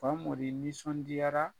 Fangoni nisɔndiyara.